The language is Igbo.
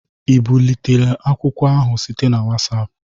Ị bulitela akwụkwọ ahụ site na WhatsApp?